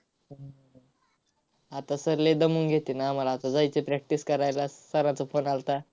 आता सरले दमून घेतील. आम्हाला आता जायचं आहे practice करायला, sir चा phone आलता.